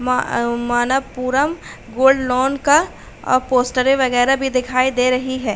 मा अ Manappuram gold loan का अ पोस्टरें वगैरा भी दिखाई दे रही हैं।